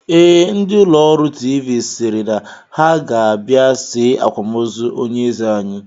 Ee, ndị ụlọọrụ tiivii sịrị na ha ga-abịa see akwamozu onyeeze anyi